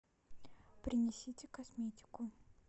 принесите косметику